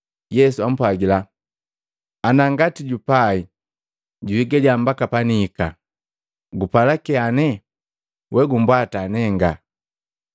Yesu ampwagila, “Ana ngati jupai juhigaliya mbaka panihika, gupala kyane? We gumbwata nenga.”